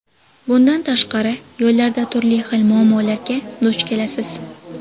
Bundan tashqari, yo‘llarda turli xil muammolarga duch kelasiz.